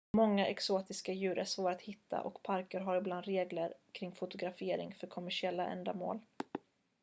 många exotiska djur är svåra att hitta och parker har ibland regler kring fotografering för kommersiella ändamål